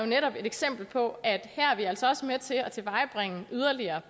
netop et eksempel på at her er vi altså også med til at tilvejebringe yderligere